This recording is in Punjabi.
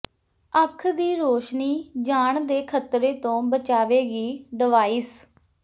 ਅੱਖ ਦੀ ਰੌਸ਼ਨੀ ਜਾਣ ਦੇ ਖ਼ਤਰੇ ਤੋਂ ਬਚਾਵੇਗੀ ਡਿਵਾਈਸ